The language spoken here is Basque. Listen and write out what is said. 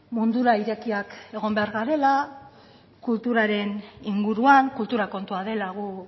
mundura irekiak egon behar garela kulturaren inguruan kultura kontua dela gu